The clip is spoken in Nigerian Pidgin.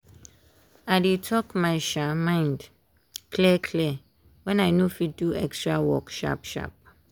i dey talk my um mind clear clear when i no fit do extra work sharp sharp.